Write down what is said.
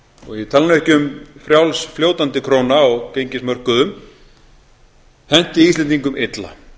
og ég tala nú ekki um frjáls fljótandi króna á gengismörkuðum henti íslendingum illa